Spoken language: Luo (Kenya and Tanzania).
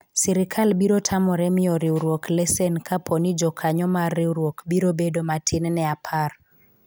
sirikal biro tamore miyo riwruok lesen kapo ni jokanyo mar riwruok biro bedo matin ne apar